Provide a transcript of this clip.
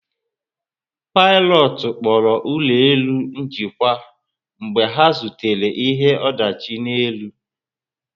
Pilotu kpọrọ ụlọ elu njikwa mgbe ha zutere ihe ọdachi n'elu